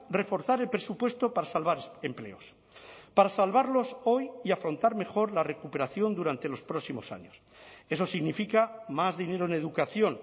reforzar el presupuesto para salvar empleos para salvarlos hoy y afrontar mejor la recuperación durante los próximos años eso significa más dinero en educación